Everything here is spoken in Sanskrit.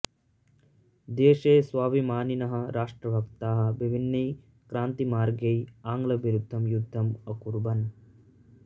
देशे स्वाभिमानिनः राष्ट्रभक्ताः विभिन्नैः क्रान्तिमार्गैः आङ्ग्लविरुद्धं युद्धम् अकुर्वन्